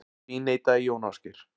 Því neitaði Jón Ásgeir.